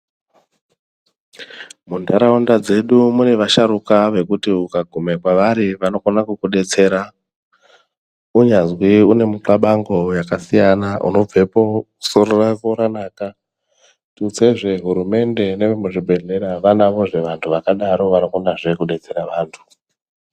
Muntaraunda dzedu mune vasharuka vekuti ukagume kwavari vanokona kukubetsera. Kunyazwi unemikabango yakasiyana unobvepo soro rako ranaka. Tutsezve hurumende nevemuzvibhedhlera vanodazve vantu vakadaro vanokonazve kubetsera vantu.